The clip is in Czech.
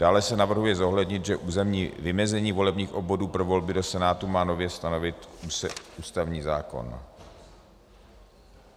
Dále se navrhuje zohlednit, že územní vymezení volebních obvodů pro volby do Senátu má nově stanovit ústavní zákon.